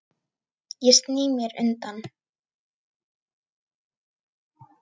Ég sný mér undan.